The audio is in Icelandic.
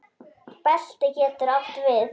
Belti getur átt við